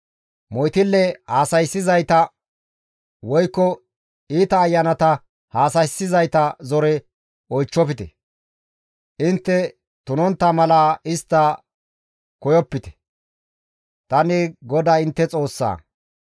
« ‹Moytille haasayssizayta woykko iita ayanata haasayssizayta zore oychchofa; intte tunontta mala istta koyopite; tani GODAY intte Xoossa.